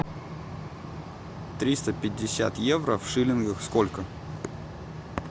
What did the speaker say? триста пятьдесят евро в шиллингах сколько